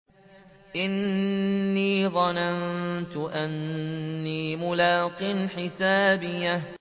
إِنِّي ظَنَنتُ أَنِّي مُلَاقٍ حِسَابِيَهْ